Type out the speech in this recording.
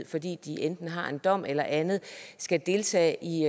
fordi de enten har en dom eller andet skal deltage i